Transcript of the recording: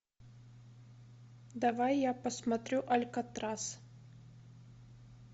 давай я посмотрю алькатрас